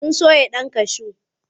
Sun soya ɗan kashu.